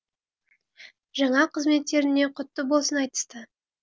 жаңа қызметтеріне құтты болсын айтысты